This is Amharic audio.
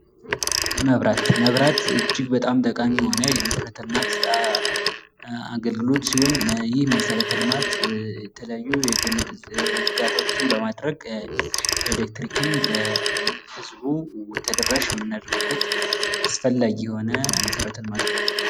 መብራት እጅግ በጣም ጠቃሚ የሆነ የመሰረተ ልማት አገልግሎት ሲሆን፤ ይህ መሠረተ ልማት የተለያዩ የገመድ ዝርጋታዎችን በማድረግ ኤሌክትሪክን ለህዝቡ ተደራሽ የምናደርግበት አስፈላጊ የሆነ መሰረተ ልማት ነው።